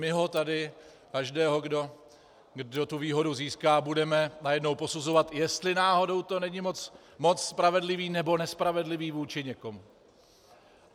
My ho tady, každého, kdo tu výhodu získá, budeme najednou posuzovat, jestli náhodou to není moc spravedlivé nebo nespravedlivé vůči někomu.